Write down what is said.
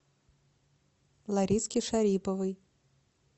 лариске шариповой